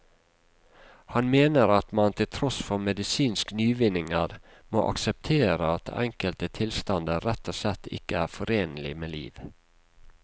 Han mener at man til tross for medisinske nyvinninger må akseptere at enkelte tilstander rett og slett ikke er forenlig med liv.